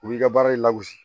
U b'i ka baara in lagosi